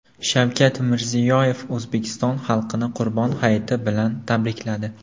Shavkat Mirziyoyev O‘zbekiston xalqini Qurbon hayiti bilan tabrikladi.